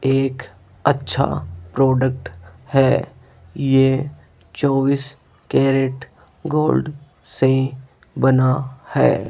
एक अच्छा प्रोडक्ट है ये चौबीस कैरेट गोल्ड से बना है।